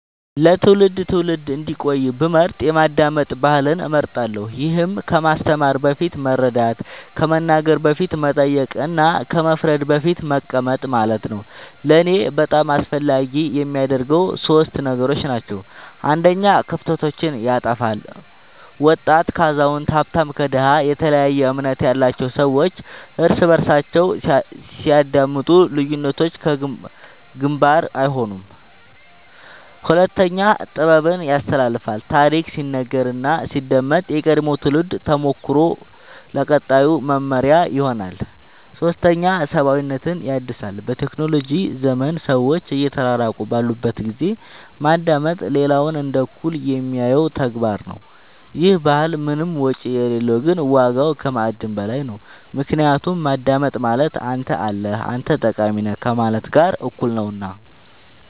ለትውልድ ትውልድ እንዲቆይ ብመርጥ የማዳመጥ ባህልን እመርጣለሁ ይህም ከማስተማር በፊት መረዳት ከመናገር በፊት መጠየቅ እና ከመፍረድ በፊት መቀመጥ ማለት ነው ለእኔ በጣም አስፈላጊ የሚያደርገው ሶስት ነገሮች ናቸው አንደኛ ክፍተቶችን ያጥፋል ወጣት ከአዛውንት ሀብታም ከድሃ የተለያየ እምነት ያላቸው ሰዎች እርስ በርሳቸው ሲያዳምጡ ልዩነቶች ግንባር አይሆኑም ሁለተኛ ጥበብን ያስተላልፋል ታሪክ ሲነገር እና ሲዳመጥ የቀድሞው ትውልድ ተሞክሮ ለቀጣዩ መመሪያ ይሆናል ሶስተኛ ሰብአዊነትን ያድሳል በቴክኖሎጂ ዘመን ሰዎች እየተራራቁ ባሉበት ጊዜ ማዳመጥ ሌላውን እንደ እኩል የሚያየው ተግባር ነው ይህ ባህል ምንም ወጪ የሌለው ግን ዋጋው ከማዕድን በላይ ነው ምክንያቱም ማዳመጥ ማለት አንተ አለህ አንተ ጠቃሚ ነህ ከማለት ጋር እኩል ነውና